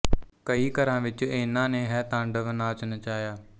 ਕਈ ਘਰਾਂ ਵਿੱਚ ਏਨ੍ਹਾਂ ਨੇ ਹੈ ਤਾਂਡਵ ਨਾਚ ਨਚਾਇਆ